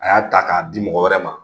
A y'a ta k'a di mɔgɔw wɛrɛ ma.